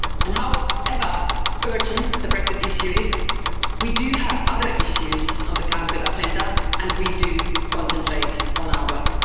However urgent the Brexit issue is, we do have other issues on the Council agenda and we do concentrate on our work.